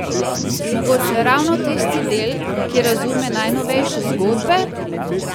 Mogoče ravno tisti del, ki razume najnovejše zgodbe?